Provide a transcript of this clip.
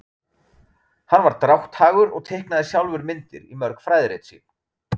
Hann var drátthagur og teiknaði sjálfur myndir í mörg fræðirit sín.